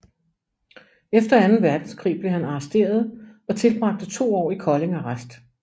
Efter anden verdenskrig blev han arresteret og tilbragte to år i Kolding Arrest